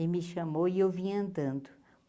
Ele me chamou e eu vim andando.